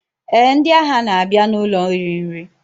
Eh, ndị agha na-abịa n'ụlọ iri nri.